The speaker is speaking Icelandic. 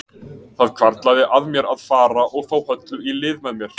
Það hvarflaði að mér að fara og fá Höllu í lið með mér.